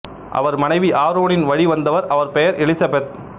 அவர் மனைவி ஆரோனின் வழி வந்தவர் அவர் பெயர் எலிசபெத்து